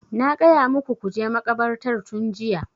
Na gaya muku ku je makabartar tun jiya!